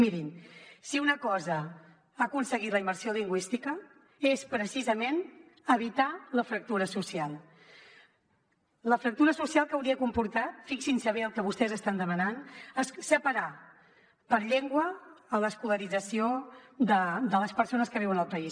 mirin si una cosa ha aconseguit la immersió lingüística és precisament evitar la fractura social la fractura social que hauria comportat fixin se bé el que vostès estan demanant separar per llengua l’escolarització de les persones que viuen al país